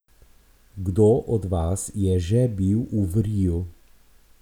Kdo od vas je že bil v vriju?